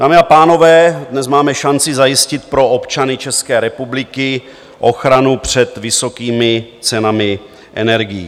Dámy a pánové, dnes máme šanci zajistit pro občany České republiky ochranu před vysokými cenami energií.